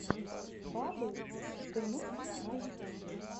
баббл тм на ютюбе